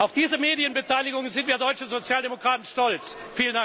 Auf diese Medienbeteiligung sind wir deutschen Sozialdemokraten stolz! BRK